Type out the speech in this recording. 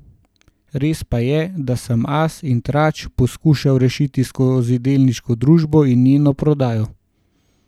Res pa je, da sem As in Trač poskušal rešiti skozi delniško družbo in njeno prodajo.